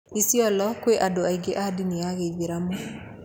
Isiolo kwĩ andũ aingĩ a ndini ya gĩithĩramu.